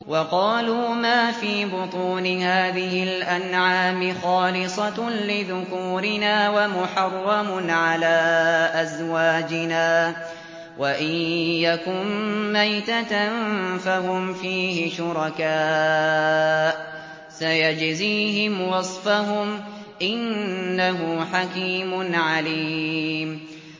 وَقَالُوا مَا فِي بُطُونِ هَٰذِهِ الْأَنْعَامِ خَالِصَةٌ لِّذُكُورِنَا وَمُحَرَّمٌ عَلَىٰ أَزْوَاجِنَا ۖ وَإِن يَكُن مَّيْتَةً فَهُمْ فِيهِ شُرَكَاءُ ۚ سَيَجْزِيهِمْ وَصْفَهُمْ ۚ إِنَّهُ حَكِيمٌ عَلِيمٌ